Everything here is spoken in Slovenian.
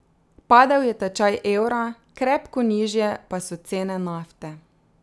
Padel je tečaj evra, krepko nižje pa so cene nafte.